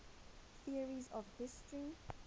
theories of history